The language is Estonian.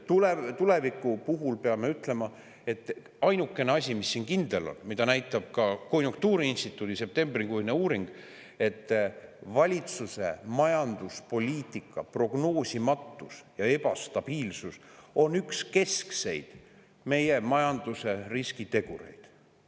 Tuleviku puhul peame ütlema, et ainukene asi, mis on kindel – seda näitab ka konjunktuuriinstituudi septembrikuine uuring –, on see, et valitsuse majanduspoliitika prognoosimatus ja ebastabiilsus on meie majanduse üks keskseid riskitegureid.